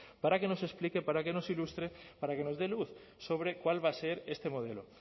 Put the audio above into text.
para que nos explique para que nos ilustre para que nos dé luz sobre cuál va a ser este modelo